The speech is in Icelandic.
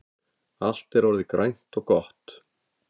Allt er orðið grænt og gott